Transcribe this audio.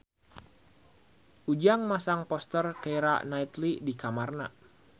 Ujang masang poster Keira Knightley di kamarna